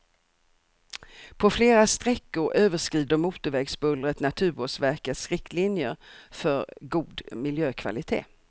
På flera sträckor överskrider motorvägsbullret naturvårdsverkets riktlinjer för god miljökvalitet.